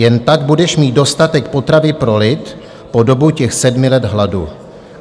Jen tak budeš mít dostatek potravy pro lid po dobu těch sedmi let hladu.